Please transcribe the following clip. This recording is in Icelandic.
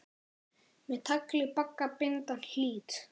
Með tagli bagga binda hlýt.